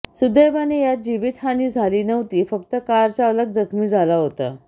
सुदैवाने यात जीवितहानी झाली नव्हती फक्त कारचालक जखमी झाला होता